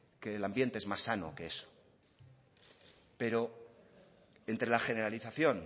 que el ambiente es más sano que eso pero entre la generalización